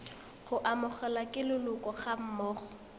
go amogelwa ke leloko gammogo